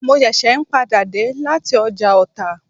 Mo ṣẹ̀ṣẹ̀ n padà dé lati ọjà ọta